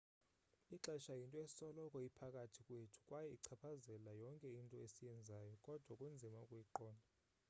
ixesha yinto esoloko iphakathi kwethu kwaye ichaphazela yonke into esiyenzayo kodwa kunzima ukuyiqonda